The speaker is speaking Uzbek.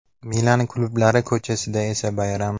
Milan klublari ko‘chasida esa bayram.